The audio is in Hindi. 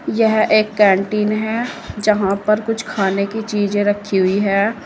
यह एक कैंटीन है जहां पर कुछ खाने की चीजें रखी हुई है।